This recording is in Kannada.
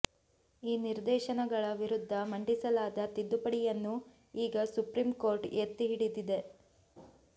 ಈ ನಿರ್ದೇಶನಗಳ ವಿರುದ್ದ ಮಂಡಿಸಲಾದ ತಿದ್ದುಪಡಿಯನ್ನು ಈಗ ಸುಪ್ರಿಂ ಕೋರ್ಟ್ ಎತ್ತಿ ಹಿಡಿದಿದೆ